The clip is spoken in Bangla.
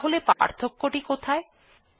তাহলে পার্থক্য টি কোথায়160